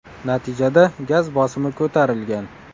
Natijada gaz bosimi ko‘tarilgan.